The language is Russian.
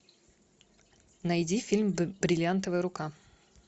найди фильм бриллиантовая рука